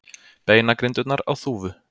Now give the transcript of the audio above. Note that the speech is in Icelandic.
Beinagrindurnar á Þúfu.